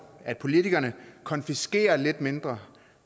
at politikerne konfiskerer lidt mindre